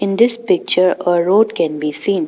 In this picture a road can be seen.